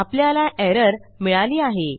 आपल्याला एरर मिळाली आहे